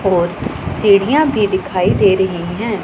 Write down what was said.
और सिडिया भी दिखाई दे रही है।